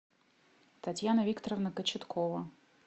татьяна викторовна кочеткова